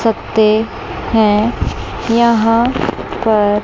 सकते हैं यहां पर--